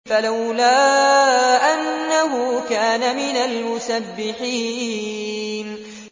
فَلَوْلَا أَنَّهُ كَانَ مِنَ الْمُسَبِّحِينَ